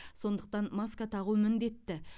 сондықтан маска тағу міндетті